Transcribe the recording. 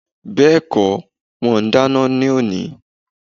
Bẹ́ẹ̀kó ,wọn ò dáná ní òní